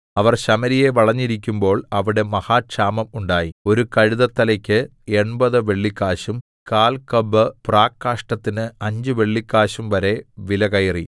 അവർ ശമര്യയെ വളഞ്ഞിരിക്കുമ്പോൾ അവിടെ മഹാക്ഷാമം ഉണ്ടായി ഒരു കഴുതത്തലെക്ക് എൺപത് വെള്ളിക്കാശും കാൽകബ് പ്രാക്കാഷ്ഠത്തിന് അഞ്ച് വെള്ളിക്കാശും വരെ വിലകയറി